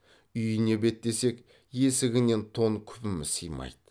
үйіне беттесек есігінен тон күпіміз сыймайды